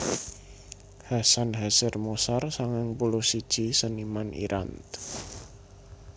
Hasan Hazer Moshar sangang puluh siji seniman Irant